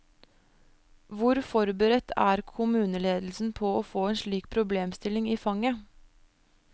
Hvor forberedt er kommuneledelsen på å få en slik problemstilling i fanget?